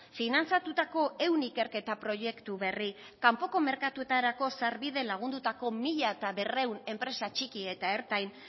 finantzatutako ehun ikerketa proiektu berri kanpoko merkatuetarako sarbide lagundutako mila berrehun enpresa txiki eta ertain